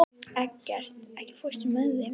Eggert, ekki fórstu með þeim?